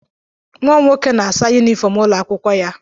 Nwa m nwoke na-asa yunifọm ụlọ akwụkwọ ya.